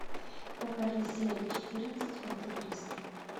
покажи серия четырнадцать монте кристо